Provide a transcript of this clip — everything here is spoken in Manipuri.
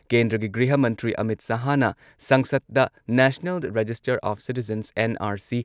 ꯀꯦꯟꯗ꯭꯭ꯔꯒꯤ ꯒ꯭ꯔꯤꯍ ꯃꯟꯇ꯭ꯔꯤ ꯑꯃꯤꯠ ꯁꯍꯥꯍꯅ ꯁꯪꯁꯗꯗ national register of citizens NRC